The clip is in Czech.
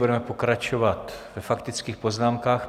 Budeme pokračovat ve faktických poznámkách.